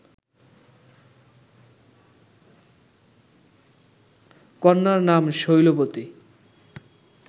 কন্যার নাম শৈলবতী